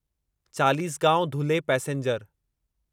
Chalisgaon Dhule passenger